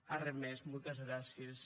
arren mès moltes gràcies